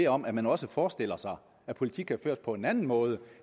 om at man også forestiller sig at politik kan føres på en anden måde